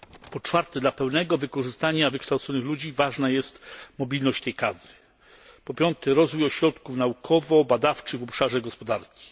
Po czwarte dla pełnego wykorzystania wykształconych ludzi ważna jest mobilność tej kadry. Po piąte rozwój ośrodków naukowo badawczych w obszarze gospodarki.